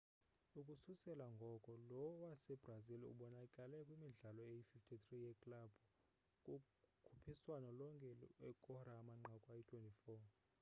ukususela ngoko lo wasebrazil ubonakale kwimidlalo eyi-53 yeklabhu kukhuphiswano lonke ekora amanqaku ayi-24